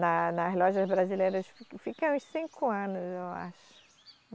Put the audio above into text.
Na, nas lojas brasileiras eu fico, fiquei uns cinco anos, eu acho.